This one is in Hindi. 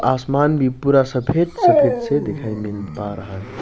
आसमान भी पूरा सफेद सफेद से दिखाई मिल पा रहा है --